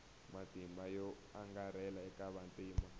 matimba yo angarhela eka vantima